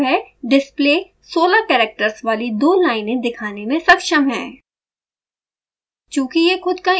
जिसका मतलब है डिस्प्ले 16 कैरेक्टर्स वाली दो लाइनें दिखाने में सक्षम है